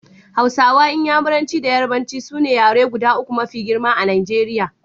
Hausa, Inyamuranci da Yarbanci su ne yaruka guda uku mafi girma a Najeriya.